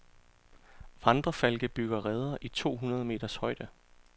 Vandrefalke bygger reder i tohundrede meters højde.